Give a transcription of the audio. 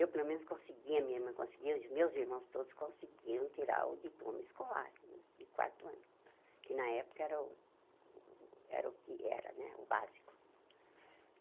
Eu pelo menos conseguia, minha irmã conseguia, os meus irmãos todos conseguiam tirar o diploma escolar de quarto ano, que na época era o era o que era né o básico.